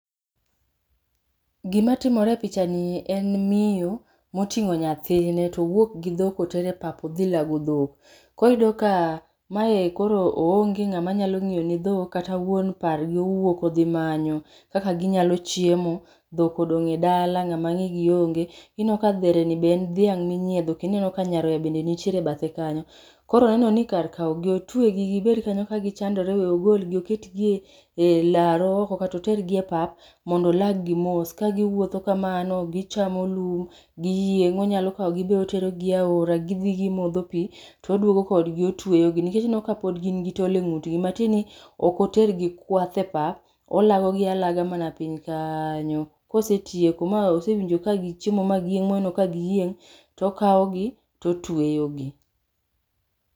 Gimatimore e picha nie en miyo, moting'o nyathine towuok gi dhok otere pap odhi lago dhok. Koriyudo ka, maye koro oonge ng'ama nyalo ng'iyo ne dhok kata wuon pargi owuok odhimanyo, kaka ginyalo chiemo, dhok odong' e dala ng'ama ng'i gi onge. Ineno ka dhere ni be en dhiang' minyiedho kendo ineno ka nyaroya bende nitiere e bathe kanyo. Koro oneno ni kar kaw gi otwegi gibed kanyo ka gichandore we ogol gi oket gie e laro oko kata otergi e pap mondo olag gi mos ka giwuotho kamano, gichamo lum, giyieng', onyalo kawgi be otero gi e aora gidhi gimodho pii to oduogo kodgi otweyo gi nikech ineno ka pod gin gi tol e ng'ut gi matieni, ok otergi kwath e pap, olago gi alaga mana piny kanyo, kosetieko ma osewinjo ka gichiemo ma giyieng' moneno ka giyieng', tokaw gi, totweyo gi